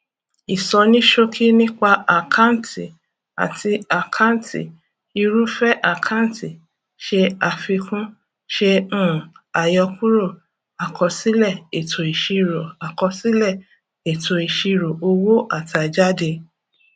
isonisoki nipa akanti ate akanti irúfẹ àkáǹtì se àfikún ṣe um àyọkúrò akosile eto isiro akosile eto isiro owo atajade